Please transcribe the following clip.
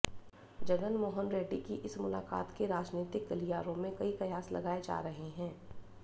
जगनमोहन रेड्डी की इस मुलाकात के राजनीतिक गलियारों में कई कयास लगाए जा रहे हैं